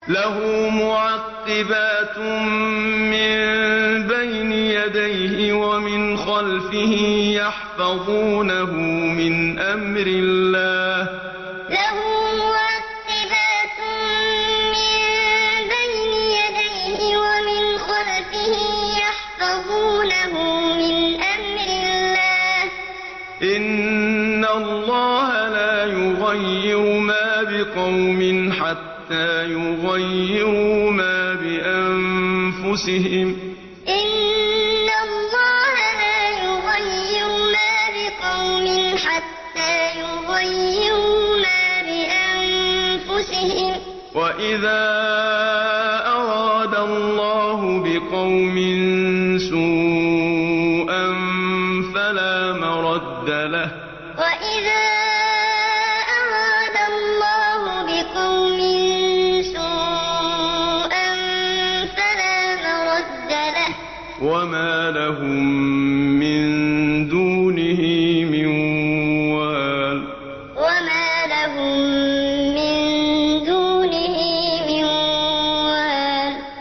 لَهُ مُعَقِّبَاتٌ مِّن بَيْنِ يَدَيْهِ وَمِنْ خَلْفِهِ يَحْفَظُونَهُ مِنْ أَمْرِ اللَّهِ ۗ إِنَّ اللَّهَ لَا يُغَيِّرُ مَا بِقَوْمٍ حَتَّىٰ يُغَيِّرُوا مَا بِأَنفُسِهِمْ ۗ وَإِذَا أَرَادَ اللَّهُ بِقَوْمٍ سُوءًا فَلَا مَرَدَّ لَهُ ۚ وَمَا لَهُم مِّن دُونِهِ مِن وَالٍ لَهُ مُعَقِّبَاتٌ مِّن بَيْنِ يَدَيْهِ وَمِنْ خَلْفِهِ يَحْفَظُونَهُ مِنْ أَمْرِ اللَّهِ ۗ إِنَّ اللَّهَ لَا يُغَيِّرُ مَا بِقَوْمٍ حَتَّىٰ يُغَيِّرُوا مَا بِأَنفُسِهِمْ ۗ وَإِذَا أَرَادَ اللَّهُ بِقَوْمٍ سُوءًا فَلَا مَرَدَّ لَهُ ۚ وَمَا لَهُم مِّن دُونِهِ مِن وَالٍ